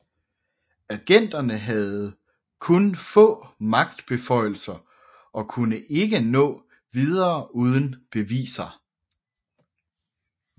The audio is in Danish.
Agenterne havde kun få magtbeføjelser og kunne ikke nå videre uden beviser